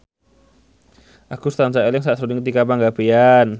Agus tansah eling sakjroning Tika Pangabean